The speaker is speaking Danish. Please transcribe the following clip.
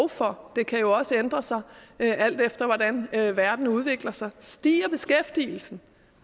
for det kan jo også ændre sig alt efter hvordan verden udvikler sig stiger beskæftigelsen